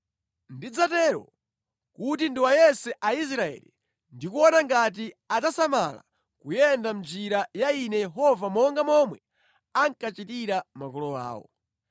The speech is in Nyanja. Ndidzatero kuti ndiwayese Aisraeli ndi kuona ngati adzasamala kuyenda mʼnjira ya Ine Yehova monga momwe ankachitira makolo awo.”